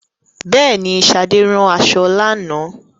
Bẹẹni, Sade rán aṣọ lánàá